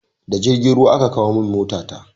Da jirgin ruwa aka kawo min mota ta